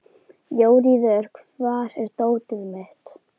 Jóríður, hvar er dótið mitt?